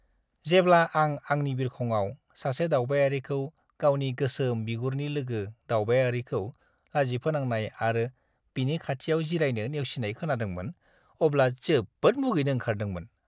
जेब्ला आं आंनि बिरखंआव सासे दावबायारिखौ गावनि गोसोम बिगुरनि लोगो-दावबायारिखौ लाजिफोनांनाय आरो बिनि खाथियाव जिरायनो नेवसिनाय खोनादोंमोन, अब्ला जोबोद मुगैनो ओंखारदोंमोन!